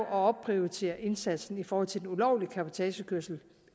opprioriterer indsatsen i forhold til den ulovlige cabotagekørsel